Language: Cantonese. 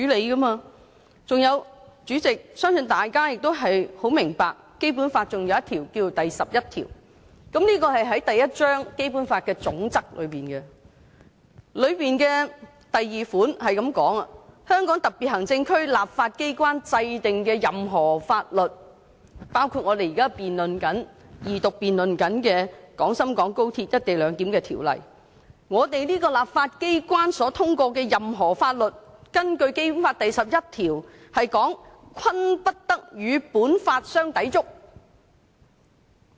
代理主席，我相信大家也很明白《基本法》還有第十一條，這是在《基本法》第一章的總則內，該條第二款是這樣寫的："香港特別行政區立法機關制定的任何法律"——我們這個立法機關所通過的任何法律，包括我們現正進行二讀辯論的《條例草案》，根據《基本法》第十一條——"均不得同本法相抵觸。